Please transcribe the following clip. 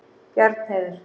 Bjarnheiður